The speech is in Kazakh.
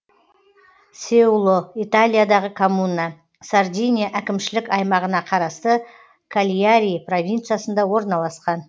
сеуло италиядағы коммуна сардиния әкімшілік аймағына қарасты кальяри провинциясында орналасқан